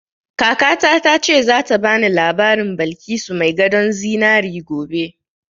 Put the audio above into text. Kakata ta ce za ta bani labarin Balkisu mai gadon zinari gobe